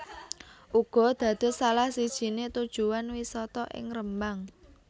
uga dados salah sijine tujuan wisata ing Rembang